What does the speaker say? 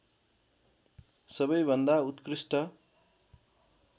सबैभन्दा उत्कृष्ट